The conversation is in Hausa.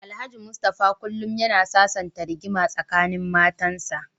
Alhaji Mustapha kullum yana sasanta rigima tsakanin matansa.